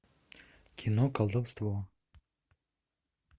кино колдовство